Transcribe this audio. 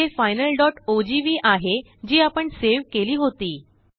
येथेFINALogv आहे जी आपणसेव केली होती